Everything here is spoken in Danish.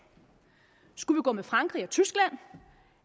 skulle vi gå med frankrig og tyskland